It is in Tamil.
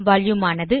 வால்யூம் ஆனது